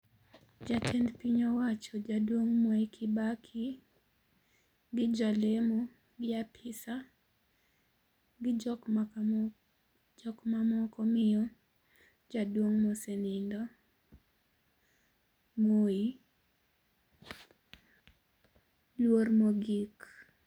Jatend piny owacho jaduong' Mwai Kibaki gi jalemo, gi apisa gi jok mamoko miyo jaduong' mosenindo , Moi luor mogik.